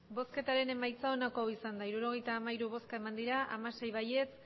emandako botoak hirurogeita hamairu bai hamasei